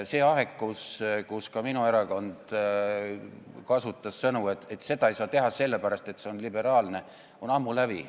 See aeg, kui ka minu erakond kasutas sõnu, et seda ei saa teha sellepärast, et nii on liberaalne, on ammu läbi.